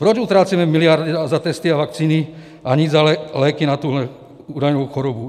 Proč utrácíme miliardy za testy a vakcíny, a nic za léky na tuto údajnou chorobu?